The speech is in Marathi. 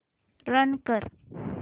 रन कर